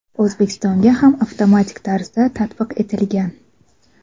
O‘zbekistonga ham avtomatik tarzda tatbiq etilgan.